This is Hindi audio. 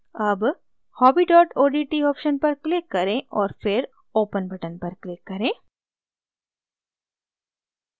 अब hobby odt option पर click करें और फिर open button पर click करें